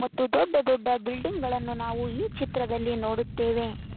ದೊಡ್ಡ ದೊಡ್ಡ ಬಿಲ್ಡಿಂಗ್ ಗಳನ್ನು ನಾವು ಈ ಚಿತ್ರದಲ್ಲಿ ನೋಡುತ್ತೇವೆ.